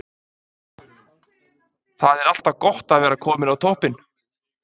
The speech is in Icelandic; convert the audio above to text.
Það er alltaf gott að vera kominn á toppinn.